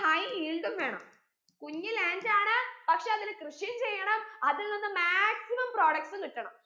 high yield ഉം വേണം കുഞ്ഞി land ആണ് പക്ഷെ അതിൽ കൃഷിയും ചെയ്യണം അതിൽ നിന്ന് maximum products ഉം കിട്ടണം